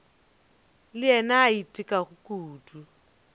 le yena a itekago kudu